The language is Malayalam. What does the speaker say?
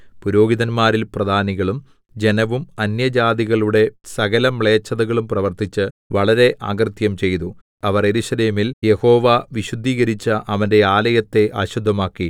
പുരോഹിതന്മാരിൽ പ്രധാനികളും ജനവും അന്യജാതികളുടെ സകലമ്ലേച്ഛതകളും പ്രവർത്തിച്ച് വളരെ അകൃത്യം ചെയ്തു അവർ യെരൂശലേമിൽ യഹോവ വിശുദ്ധീകരിച്ച അവന്റെ ആലയത്തെ അശുദ്ധമാക്കി